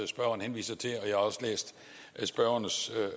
spørgeren henviser til og jeg har også læst spørgerens